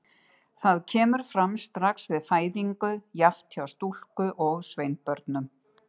Það kemur fram strax við fæðingu, jafnt hjá stúlku- og sveinbörnum.